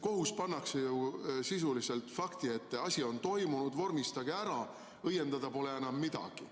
Kohus pannakse ju sisuliselt fakti ette, et asi on toimunud, vormistage ära, õiendada pole enam midagi.